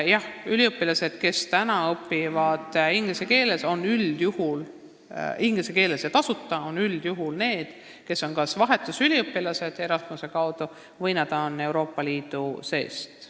Üliõpilased, kes meil täna õpivad inglise keeles ja tasuta, on üldjuhul kas Erasmuse vahetusüliõpilased või Euroopa Liidust.